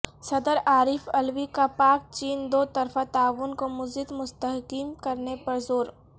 صدر عارف علوی کا پاک چین دوطرفہ تعاون کو مزید مستحکم کرنے پر زور